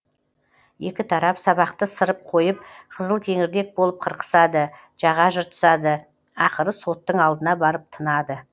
екі тарап сабақты сырып қойып қызылкеңірдек болып қырқысады жаға жыртысады ақыры соттың алдына барып тынады